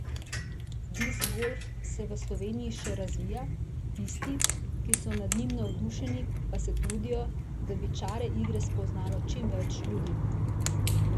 Diskgolf se v Sloveniji še razvija, tisti, ki so nad njim navdušeni, pa se trudijo, da bi čare igre spoznalo čim več ljudi.